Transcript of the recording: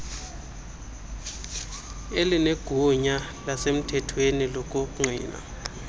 elinegunya lasemthethweni lokungqina